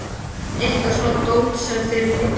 Eitthvað svona dót sem þeir leggja á milli.